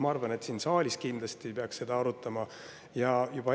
Ma arvan, et siin saalis peaks seda kindlasti arutama.